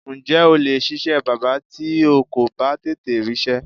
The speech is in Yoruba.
Ǹjé̩ o lè s̩is̩é̩ bábà tí o kò bá tètè rís̩é̩?